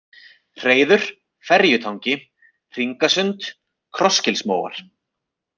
Hreiður, Ferjutangi, Hringasund, Krossgilsmóar